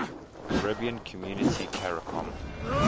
caribbean community caricom